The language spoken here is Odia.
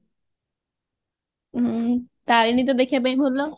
ହଁ ତାରିଣୀ ତ ଦେଖିବା ପାଇଁ ଭଲ